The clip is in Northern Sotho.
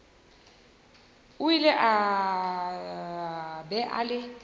o ile a ba le